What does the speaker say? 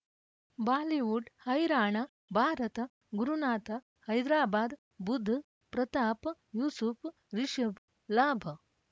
Bollywood ಹೈರಾಣ ಭಾರತ ಗುರುನಾಥ ಹೈದರಾಬಾದ್ ಬುಧ್ ಪ್ರತಾಪ್ ಯೂಸುಫ್ ರಿಷಬ್ ಲಾಬ್